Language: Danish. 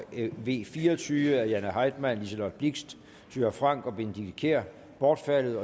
v fire og tyve af jane heitmann liselott blixt thyra frank og benedikte kiær bortfaldet